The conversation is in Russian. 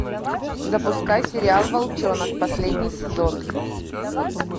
запускай сериал волчонок последний сезон